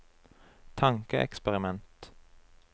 tankeeksperiment